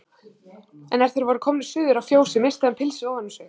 En er þeir voru komnir suður að fjósi missti hann pilsið ofan um sig.